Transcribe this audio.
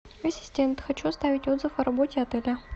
ассистент хочу оставить отзыв о работе отеля